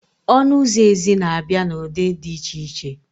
Ọnụ ụzọ ezi na abịa na ụdị dị iche iche